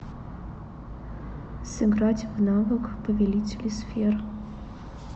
сыграть в навык повелители сфер